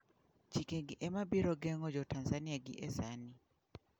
Chikegi ema biro geng'o jotanzania gi e sani.